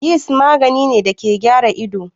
Yist magani ne da ke gyara ido.